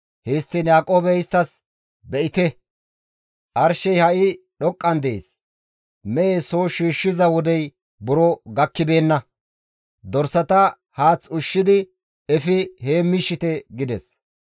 Histtiin Yaaqoobey isttas, «Be7ite! Arshey ha7i dhoqqan dees; mehe soo shiishshiza wodey buro gakkibeenna; dorsata haath ushshidi efi heemmiishshite» gides.